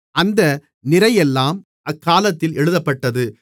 அந்த நிறையெல்லாம் அக்காலத்தில் எழுதப்பட்டது